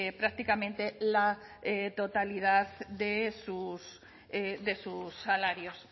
prácticamente la totalidad de sus salarios